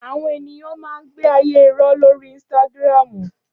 Áwòn éniyàn má n gbé àyé irò lóri instàgrámú